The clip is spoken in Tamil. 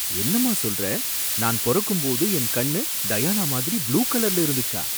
என்னம்மா சொல்ற! நான் பொறக்கும் போது என் கண்ணு டயானா மாதிரி ப்ளூ கலர்ல இருந்துச்சா?